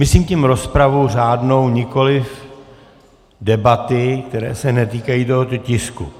Myslím tím rozpravu řádnou, nikoliv debaty, které se netýkají tohoto tisku.